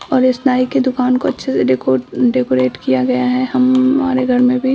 और इस नाई की दुकान को अच्छे से डेको-डेकोरेट किया गया है हम-हमारे घर में भी --